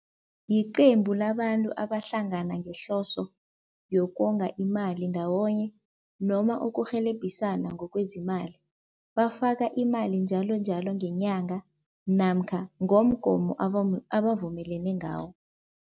Yiqembu labantu abahlangana ngehloso yokonga imali ndawonye noma ukurhelebhisana ngokwazemali. Bafaka imali njalonjalo ngenyanga namkha ngomgomo abavumelene ngawo.